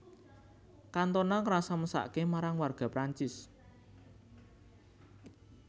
Cantona ngrasa mesake marang warga Prancis